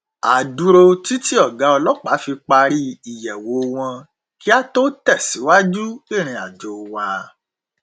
a dúró títí ọgá ọlọpàá fi parí ìyẹwò wọn kí á tó tẹsìwájú ìrin àjò wa